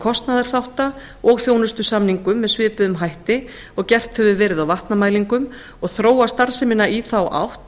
kostnaðarþátta og þjónustusamningum með svipuðum hætti og gert hefur verið á vatnamælingum og þróa starfsemina í þá átt